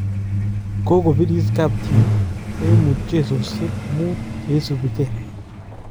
Kokosiriis kaptien eng muchesosshek mut cheisupikey.